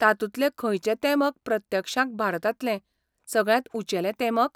तातूंतलें खंयचें तेमक प्रत्यक्षांत भारतांतलें सगळ्यांत उंचेलें तेमक?